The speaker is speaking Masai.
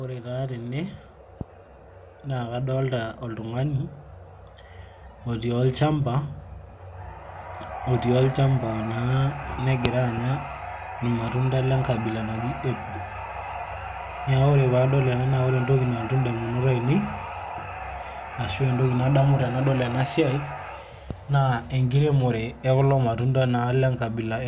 ore taa tene naa kadoolta oltungani otii olchampa, naa negira anya irmatunda le nkabila naji apple naa ore pee adol ena ore entoki nalotu damunot aainei, ashu entoki nadamu tenaas ena siai, naa enkiremore e kulo matunda enkabila e